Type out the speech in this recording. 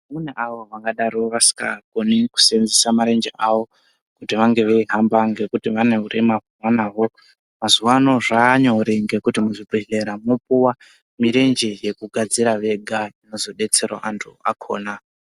Mune avo vangadaro vasingakoni kuseenzesa marenje avo, kuti vange veihamba ngekuti vane urema hwavanaho. Mazuwa ano zvavanyore ngekuti muzvibhedhlera mwopuwa, mirenje yekugadzira vega inozodetsera antu akhona.